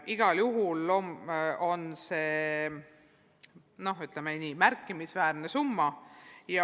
Igal juhul on see märkimisväärne summa.